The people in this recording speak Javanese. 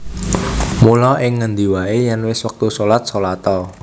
Mula ing ngendi waé yèn wis wektu shalat shalat a